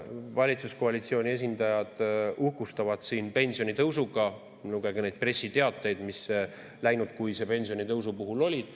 Valitsuskoalitsiooni esindajad uhkustavad siin pensionitõusuga – lugege neid pressiteateid, mis läinudkuise pensionitõusu puhul olid.